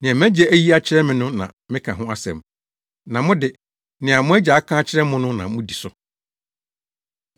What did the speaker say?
Nea mʼAgya ayi akyerɛ me no na meka ho asɛm, na mo de, nea mo agya aka akyerɛ mo no na mudi so.”